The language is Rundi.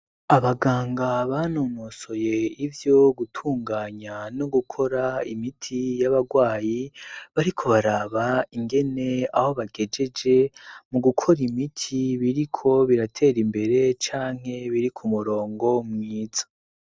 Abaganga banonosoye ivyo gutunganya no gukora imiti y'abarwayi, bariko baraba ingene aho bakegejeje mu gukora imiti biriko biratera imbere canke biri ku murongo mwiza.